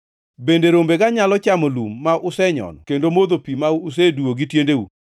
Bende rombega nyalo chamo lum ma usenyono kendo modho pi ma useduwo gi tiendu?